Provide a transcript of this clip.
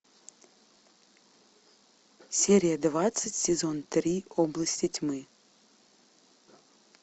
серия двадцать сезон три области тьмы